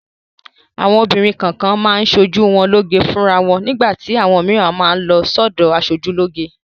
Àwọn obìnrin kọ̀ọ̀kan máa ń ṣoojú wọn lóge fúnra wọn. Nígbà tí àwọn mìíràn má a lọ sọ́dọ̀ aṣojúlóge.